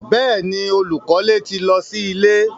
Bẹ́ẹ̀ni, olúkọlẹ̀ ti lọ sí ilẹ̀